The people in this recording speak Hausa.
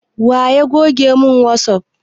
Wa ya goge mun wasup